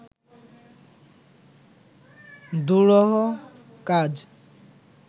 দুরূহ কাজ